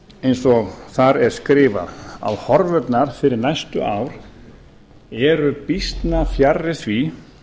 eins og þar er skrifað að horfurnar fyrir næstu ár eru býsna fjarri því